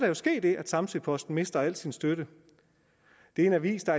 jo ske det at samsø posten mister al sin støtte det er en avis der